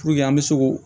an bɛ se k'o